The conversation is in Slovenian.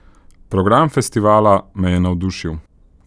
Program festivala me je navdušil!